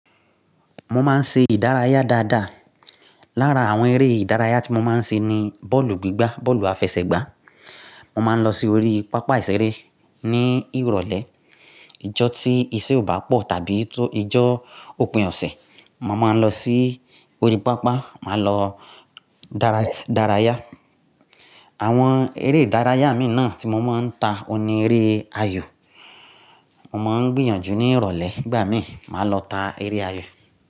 Mo máa ń ṣe ìdárayá dáadáa. Lára àwọn eré ìdárayá tí mo máa ń ṣe ni bọ́ọ̀lù gbígbá, bọ́ọ̀lù àfẹsẹ̀gbá. Mo máa ń lọ sí orí pápá ìṣeré ní ìrọ̀lẹ́, ìjọ́ tí iṣẹ́ ò bá pọ̀ tàbí tó ìjọ́ òpin ọ̀sẹ̀. Mo máa ń lọ sí orí pápá, màá lọ dara dárayá. Àwọn eré ìdárayá mi náà tí mo máa ń ta òní eré ayò. Mo máa ń gbìyànjú ní ìrọ̀lẹ́, ìgbà mí, màá lọ ta eré ayò.